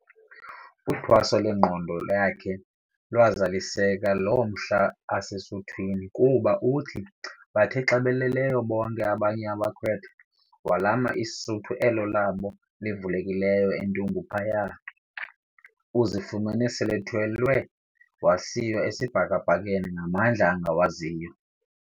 Uthwaso lwengqondo yakhe lwazalisekiswa loo mhla asesuthwini, kuba uthi, bathe xa baleleyo bonke abanye abakhwetha, walama isuthu elo labo livulekile entungo phaya, uzifumene sel'ethwelwe wasiwa esibhakabhakeni ngamandla angawaziyo.